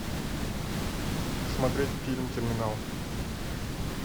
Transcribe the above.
смотреть фильм терминал